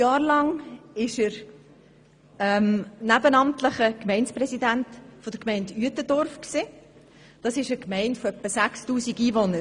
Während zwölf Jahren war er nebenamtlicher Gemeindepräsident der Gemeinde Uetendorf, einer Gemeinde mit etwa 6000 Einwohnern.